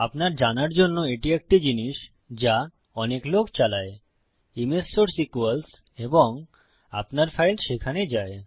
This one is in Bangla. আপনার জানার জন্য এটি একটি জিনিস যা অনেক লোক চালায় ইমেজ সোর্স ইকুয়ালস এবং আপনার ফাইল সেখানে যায়